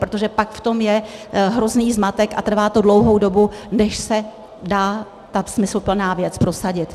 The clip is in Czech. Protože pak v tom je hrozný zmatek a trvá to dlouhou dobu, než se dá ta smysluplná věc prosadit.